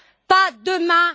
Pas demain.